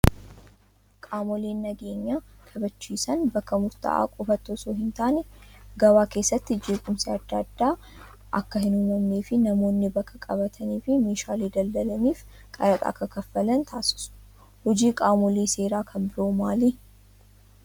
Qaamoleen nageenya kabachiisan bakka murtaa'aa qofaatti osoo hin taane gabaa keessatti jeequmsi adda addaa akka hin uumamnee fi namoonni bakka qabatanii fi meeshaalee daldalaniif qaraxa akka kaffalan taasisu. Hojiin qaamolee seeraa kan biroon maali?